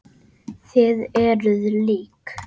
Þið eruð lík.